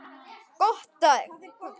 Gott á þig.